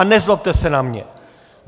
A nezlobte se na mě.